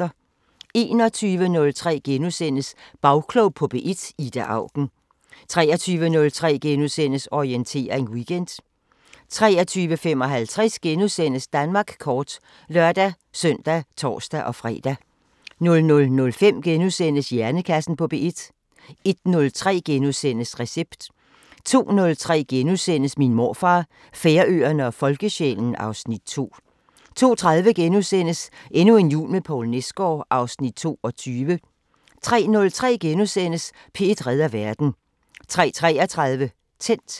21:03: Bagklog på P1: Ida Auken * 23:03: Orientering Weekend * 23:55: Danmark kort *(lør-søn og tor-fre) 00:05: Hjernekassen på P1 * 01:03: Recept * 02:03: Min morfar, Færøerne og folkesjælen (Afs. 2)* 02:30: Endnu en jul med Poul Nesgaard (Afs. 22)* 03:03: P1 redder verden * 03:33: Tændt